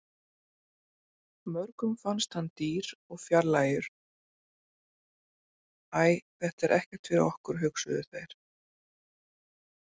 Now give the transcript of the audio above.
Mörgum fannst hann dýr og fjarlægur- æ þetta er ekkert fyrir okkur, hugsuðu þeir.